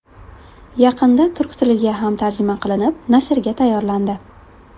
Yaqinda turk tiliga ham tarjima qilinib, nashrga tayyorlandi.